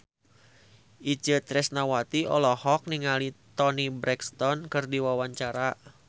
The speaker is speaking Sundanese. Itje Tresnawati olohok ningali Toni Brexton keur diwawancara